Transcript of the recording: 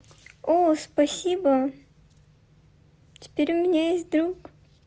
о спасибо теперь у меня есть друг